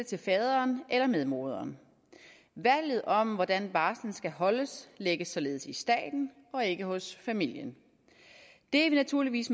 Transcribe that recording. til faderen eller medmoderen valget om hvordan barslen skal holdes lægges således i staten og ikke hos familien det er vi naturligvis